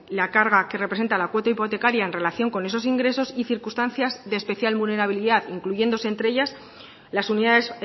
la carga que representa la cuota hipotecaria en relación con esos ingresos y circunstancias de especial vulnerabilidad incluyéndose entre ellas las unidades